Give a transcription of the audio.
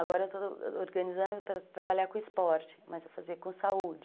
Agora eu estou organizando para trabalhar com esporte, mas eu vou fazer com saúde.